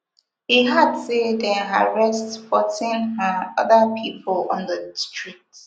e add say dem arrest fourteen um oda pipo on di street